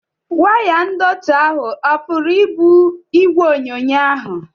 Waya ndọtị ahụ ọ puru ibu igwe onyonyo ahụ?